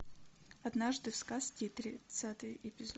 однажды в сказке тридцатый эпизод